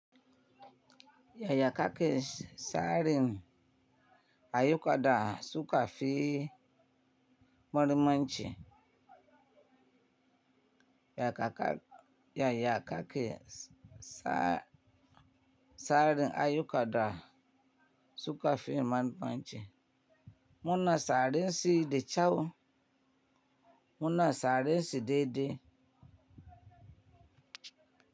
Yaya kake tsarin ayyuka da suka fi manmanci. Yaya cake tsarin ayyuka da suka fi manmanci. Muna tsarin su da kyau. Muna tsarin su daidai.